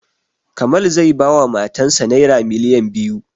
Kamal zai ba wa matan sa naira miliyan biyu